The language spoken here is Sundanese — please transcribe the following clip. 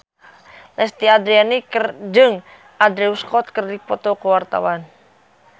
Lesti Andryani jeung Andrew Scott keur dipoto ku wartawan